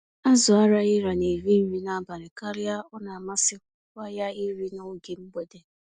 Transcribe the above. Azụ Araghịra na-eri nri n'abalị karịa ọnamasịkwa ya iri n'oge mgbede.